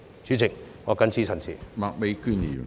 主席，我謹此陳辭。